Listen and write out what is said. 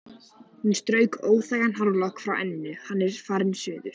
Hún strauk óþægan hárlokk frá enninu: Hann er farinn suður